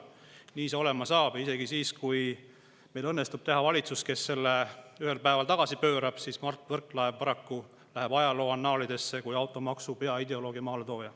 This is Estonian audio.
Nii see olema saab ja isegi siis, kui meil õnnestub teha valitsus, kes selle ühel päeval tagasi pöörab, läheb Mart Võrklaev paraku ajaloo annaalidesse kui automaksu peaideoloog ja maaletooja.